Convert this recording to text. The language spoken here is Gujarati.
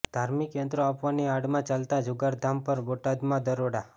ધાર્મીક યંત્રો આપવાની આડમાં ચાલતા જુગારધામ પર બોટાદમાં દરોડો